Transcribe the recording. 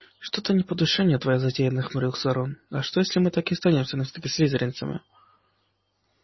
что-то не по душе мне твоя затея нахмурился рон а что если мы так и останемся навсегда слизеринцами